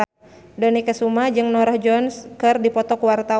Dony Kesuma jeung Norah Jones keur dipoto ku wartawan